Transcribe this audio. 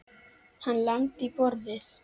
Hann lamdi í borðið.